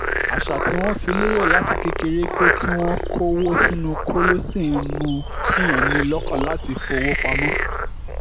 àṣà tí wọ́n fi lélẹ̀ láti kékeré pé kí wọ́n kó owó sínú kóló ṣì ń mú kí èèyàn ní ìlọ́kàn láti fi owó pamọ́